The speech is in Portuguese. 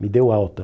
Me deu alta.